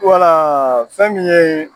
Wala fɛn min ye